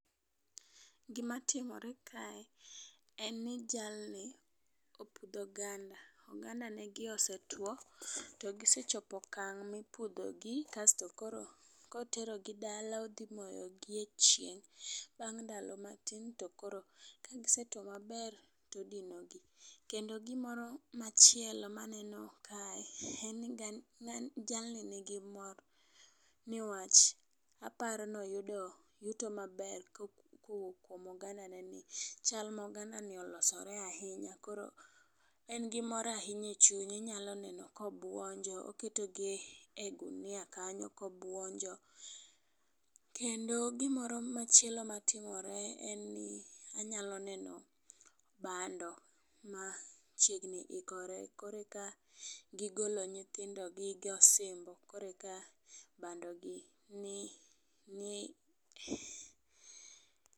Gima timore kae en ni jal ni opudho oganda. Oganda ne gi osetwo to gisechopo e okang' mipudho gi kasto koro kotero gi dala odhi moyo gi e chieng' . Bang ndalo matin to koro ka gisetuo maber tidino gi. Kendo gimoro machielo maneno kae en ni jalni nigi mor newach aparo ni oparo yuto maber kuom oganda ne ni. Chal ma oganda ni olosore ahinya, koro en gi mor ahinya e chunya inyalo neno kobuonjo ,okete gi ogunia kanyo kobuonjo . Kendo gimoro machielo matimore en ni anyalo neno bando ma chiegni ikore koreka gigolo nyithindo gi gosimbo koreka bando gi ni ni